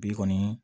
Bi kɔni